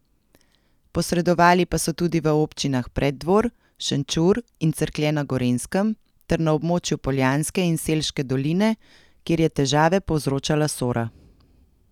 Posredovali pa so tudi v občinah Preddvor, Šenčur in Cerklje na Gorenjskem ter na območju Poljanske in Selške doline, kjer je težave povzročala Sora.